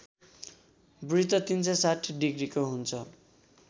वृत्त ३६० डिग्रीको हुन्छ